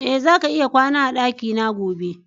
E, zaka iya kwana a dakina gobe.